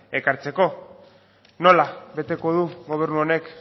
ekartzeko nola beteko du gobernu honek